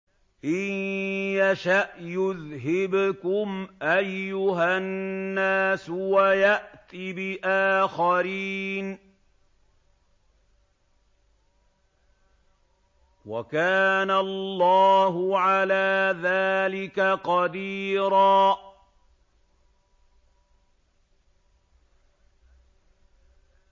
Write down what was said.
إِن يَشَأْ يُذْهِبْكُمْ أَيُّهَا النَّاسُ وَيَأْتِ بِآخَرِينَ ۚ وَكَانَ اللَّهُ عَلَىٰ ذَٰلِكَ قَدِيرًا